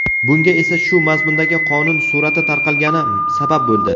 Bunga esa shu mazmundagi qonun surati tarqalgani sabab bo‘ldi.